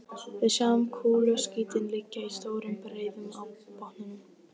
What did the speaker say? Við sjáum kúluskítinn liggja í stórum breiðum á botninum.